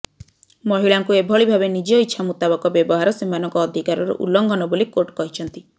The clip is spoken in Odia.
ମହିଳାଙ୍କୁ ଏଭଳି ଭାବେ ନିଜ ଇଛା ମୁତାବକ ବ୍ୟବହାର ସେମାନଙ୍କ ଅଧିକାରର ଉଲ୍ଲଂଘନ ବୋଲି କୋର୍ଟ କହିଛନ୍ତି